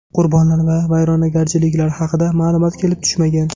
Qurbonlar va vayronagarchiliklar haqida ma’lumot kelib tushmagan.